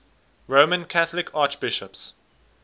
roman catholic archbishops